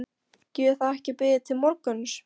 Getur það ekki beðið til morguns?